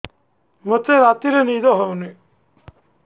ମୋତେ ରାତିରେ ନିଦ ହେଉନି